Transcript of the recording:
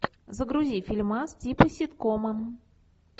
загрузи фильмас типа ситкома